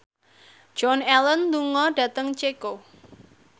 Joan Allen lunga dhateng Ceko